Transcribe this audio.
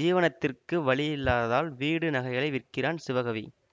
ஜீவனத்திற்கு வழியில்லாததால் வீடு நகைகளை விற்கிறான் சிவகவி